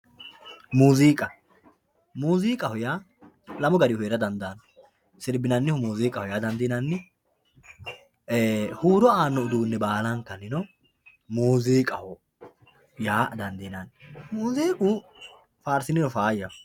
muuziiqa muuziiqaho yaa lamu garihu heera dandaanno sirbinannihu muuziiqaho yaa dandiinanni huuro aano uduunne baalankanino muuziiqaho yaa dandiinanni muuziiqu faarsiniro faayaho.